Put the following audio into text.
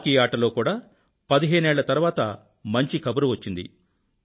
hockey ఆటలో కూడా 15 ఏళ్ళ తరువాత మంచి కబురు వచ్చింది